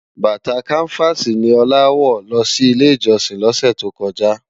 Bàtá Kánivási ni Ola wò lò si Ilé Ijòsin lòsè tókòjá